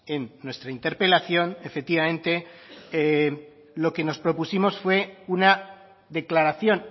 en nuestra interpelación efectivamente lo que nos propusimos fue una declaración